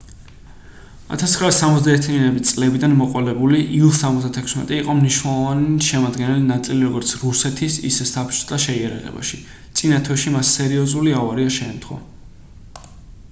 1970-იანი წლებიდან მოყოლებული ილ-76 იყო მნიშვნელოვანი შემადგენელი ნაწილი როგორც რუსეთის ისე საბჭოთა შეიარაღებაში წინა თვეში მას სერიოზული ავარია შეემთხვა